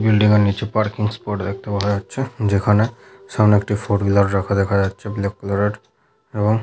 building এর নিচে parking এর স্পট দেখতে পাওয়া যাচ্ছে যেখানে সামনে একটি ফোর হুইলার রাখা দেখা যাচ্ছে ব্ল্যাক কালার এর এবং --